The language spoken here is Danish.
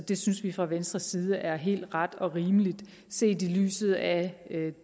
det synes vi fra venstres side er helt ret og rimeligt set i lyset af